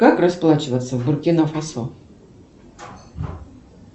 как расплачиваться в буркина фасо